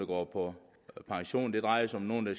går på pension det drejer sig om nogle